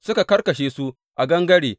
Suka karkashe su a gangare.